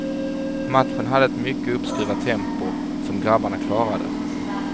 Matchen hade ett mycket uppskruvat tempo, som grabbarna klarade.